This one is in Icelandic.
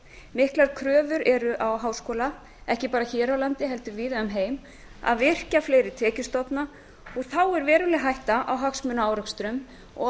miklar kröfur eru á háskóla ekki bara hér á landi heldur víða um heim að virkja fleiri tekjustofna og þá er veruleg hætta á hagsmunaárekstrum og